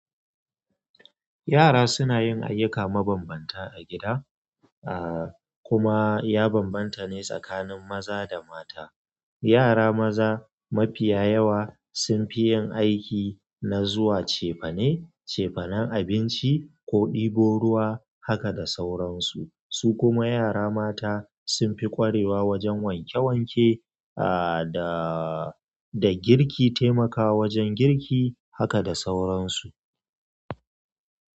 Yara suna yin ayyuka mabambanta a gida, a kuma ya bambanta ne tsakanin maza da mata. Yara maza mafiya yawa sun fi yin aiki na zuwa cefane, cefanen abinci ko ɗibo ruwa haka da sauransu. Su kuma yara mata sun fi ƙwarewa wajen wanke-wanke a da--da girki, taimakawa wajen girki haka da sauransu.